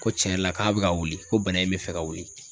Ko cɛn yɛrɛ la k'a be ka wuli ko bana in be fɛ ka wuli